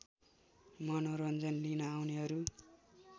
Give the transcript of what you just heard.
मनोरञ्जन लिन आउनेहरू